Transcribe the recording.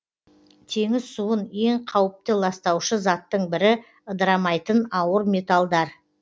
теңіз суын ең қауіпті ластаушы заттың бірі ыдырамайтын ауыр металдар